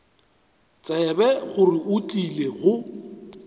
tsebe gore o tlile go